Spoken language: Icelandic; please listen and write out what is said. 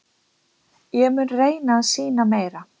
Ég mun reyna að sýna meira.